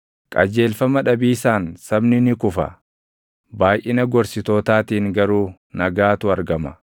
Qajeelfama dhabiisaan sabni ni kufa; baayʼina gorsitootaatiin garuu nagaatu argama.